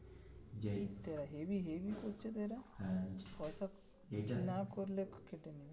এই তেরা হেব্বি হেব্বি করছে তো এরা পয়সা না করলে কেটে নেবে.